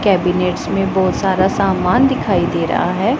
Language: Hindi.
केबिनेट्स में बहोत सारा सामान दिखाई दे रहा है।